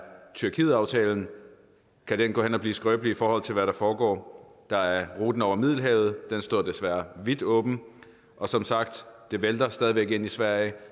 tyrkietaftalen kan den gå hen og blive skrøbelig i forhold til hvad der foregår der er ruten over middelhavet den står desværre vidt åben og som sagt det vælter stadig væk ind i sverige